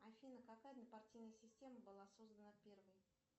афина какая однопартийная система была создана первой